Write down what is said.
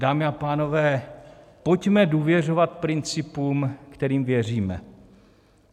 Dámy a pánové, pojďme důvěřovat principům, kterým věříme.